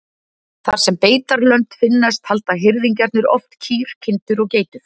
Þar sem beitarlönd finnast halda hirðingjarnir oft kýr, kindur og geitur.